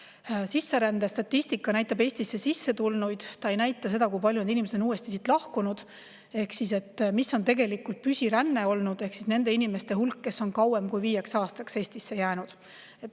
Esiteks, sisserändestatistika näitab Eestisse sisse tulnuid, see ei näita seda, kui paljud inimesed neist on siit siis lahkunud ehk seda, mis on tegelikult olnud püsiränne, nende inimeste hulk, kes on kauemaks kui viieks aastaks Eestisse jäänud.